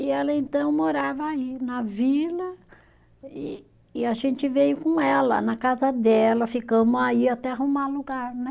E ela então morava aí na vila e e a gente veio com ela na casa dela, ficamos aí até arrumar lugar, né?